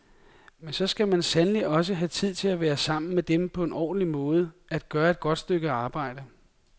Men så skal man sandelig også have tid til at være sammen med dem på en ordentlig måde, at gøre et godt stykke arbejde.